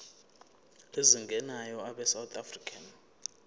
ezingenayo abesouth african